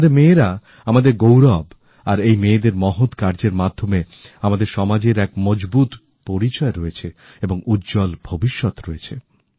আমাদের মেয়েরা আমাদের গৌরব আর এই মেয়েদের মহৎ কার্যের মাধ্যমে আমাদের সমাজের এক মজবুত পরিচয় রয়েছে এবং উজ্জ্বল ভবিষ্যৎ রয়েছে